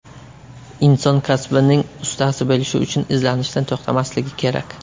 Inson kasbining ustasi bo‘lishi uchun izlanishdan to‘xtamasligi kerak.